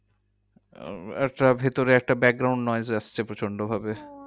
আহ একটা ভিতরে একটা আসছে প্রচন্ডভাবে।